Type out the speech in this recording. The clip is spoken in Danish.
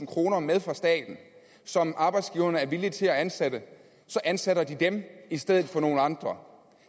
kroner med fra staten og som arbejdsgiverne er villige til at ansætte så ansætter de dem i stedet for nogle andre